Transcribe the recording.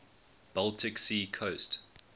baltic sea coast